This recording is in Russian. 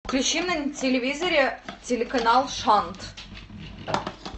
включи на телевизоре телеканал шант